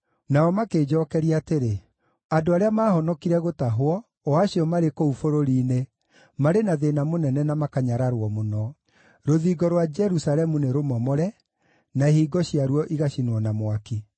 Nao makĩnjookeria atĩrĩ, “Andũ arĩa maahonokire gũtahwo, o acio marĩ kũu bũrũri-inĩ, marĩ na thĩĩna mũnene na makanyararwo mũno. Rũthingo rwa Jerusalemu nĩrũmomore, na ihingo ciaruo igacinwo na mwaki.”